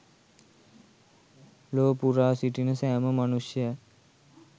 ලොව පුරා සිටින සෑම මනුෂ්‍යයන්